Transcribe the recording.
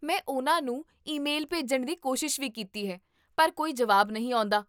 ਮੈਂ ਉਨ੍ਹਾਂ ਨੂੰ ਈਮੇਲ ਭੇਜਣ ਦੀ ਕੋਸ਼ਿਸ਼ ਵੀ ਕੀਤੀ ਹੈ ਪਰ ਕੋਈ ਜਵਾਬ ਨਹੀਂ ਆਉਂਦਾ